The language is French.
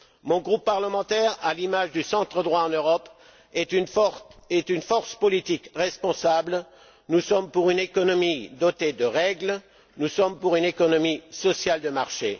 Mon groupe parlementaire, à l'image du centre droit en Europe, est une force politique responsable. Nous sommes pour une économie dotée de règles, nous sommes pour une économie sociale de marché.